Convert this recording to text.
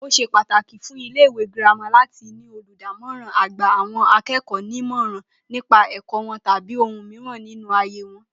Ó s̩e pàtàkì fún ilé-ìwé girama láti ní olùdámò̩rán a-gba-àwo̩n-aké̩kò̩ó̩-nímò̩ràn nípa è̩kó̩ wo̩n tàbí ohun mìíràn nínú ayé wo̩n